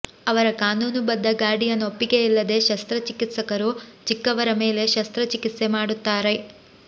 ಅವರ ಕಾನೂನುಬದ್ಧ ಗಾರ್ಡಿಯನ್ ಒಪ್ಪಿಗೆಯಿಲ್ಲದೆ ಶಸ್ತ್ರಚಿಕಿತ್ಸಕರು ಚಿಕ್ಕವರ ಮೇಲೆ ಶಸ್ತ್ರಚಿಕಿತ್ಸೆ ಮಾಡುತ್ತಾರೆ